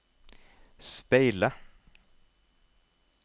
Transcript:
speile